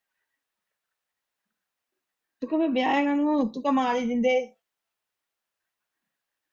ਤੂੰ ਕਹਿ ਫੇਰ ਵਿਆਹਾਂ ਕਾਹਨੂੰ ਤੂੰ ਕਹਿ ਮਾਰ ਹੀ ਦਿੰਦੇ।